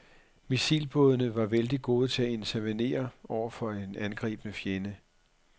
Missilbådene var vældigt gode til at intervenere over for en angribende fjende.